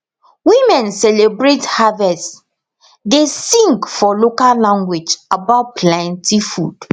women celebrate harvest dey sing for local language about plenty food